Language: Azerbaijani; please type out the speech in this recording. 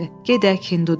Gedək, Hindu dedi.